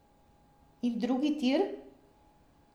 In drugi tir?